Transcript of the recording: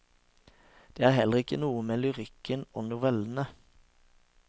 Det er heller noe med lyrikken og novellene.